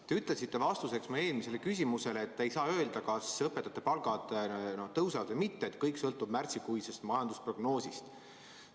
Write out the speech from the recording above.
Te ütlesite vastuseks mu eelmisele küsimusele, et ei saa öelda, kas õpetajate palgad tõusevad või mitte, et kõik sõltub märtsikuisest majandusprognoosist.